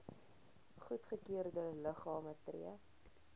goedgekeurde liggame tree